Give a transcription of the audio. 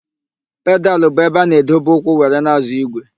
Pedalụ bụ ebe a na-edobe ụkwụ were na-ázọ̀ ígwè.